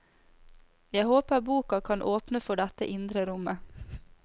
Jeg håper boka kan åpne for dette indre rommet.